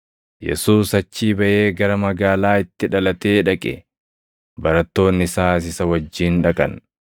Yesuus achii baʼee gara magaalaa itti dhalatee dhaqe; barattoonni isaas isa wajjin dhaqan.